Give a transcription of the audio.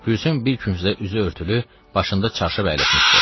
Gülsüm bir küncdə üzü örtülü, başında çarşaf əyləşmişdi.